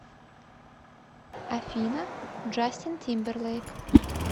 афина джастин тимберлейк